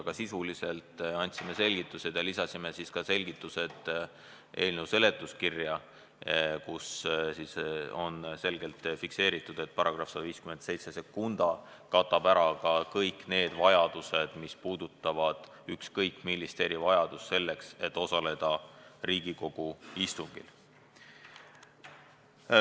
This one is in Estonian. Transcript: Aga sisuliselt andsime selgitused ja lisasime ka selgituse eelnõu seletuskirja, kus on selgelt fikseeritud, et § 1572 katab ära ka kõik need vajadused, mis puudutavad ükskõik millist erivajadust, selleks et osaleda Riigikogu istungil.